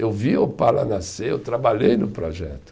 Eu vi o Opala nascer, eu trabalhei no projeto.